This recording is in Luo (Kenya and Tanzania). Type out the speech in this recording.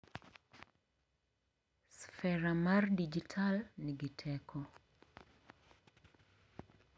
Sfera mar dijital nigi teko